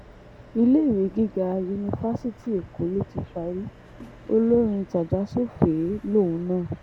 iléèwé gíga yunifásitì èkó ló ti parí olórin tajà-sùfèé lòun náà